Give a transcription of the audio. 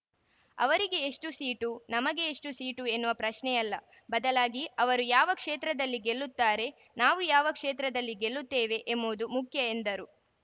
ಅವರಿಗೆ ಎಷ್ಟುಸೀಟು ನಮಗೆ ಎಷ್ಟುಸೀಟು ಎನ್ನುವ ಪ್ರಶ್ನೆ ಅಲ್ಲ ಬದಲಾಗಿ ಅವರು ಯಾವ ಕ್ಷೇತ್ರದಲ್ಲಿ ಗೆಲ್ಲುತ್ತಾರೆ ನಾವು ಯಾವ ಕ್ಷೇತ್ರದಲ್ಲಿ ಗೆಲ್ಲುತ್ತೇವೆ ಎಂಬುದು ಮುಖ್ಯ ಎಂದರು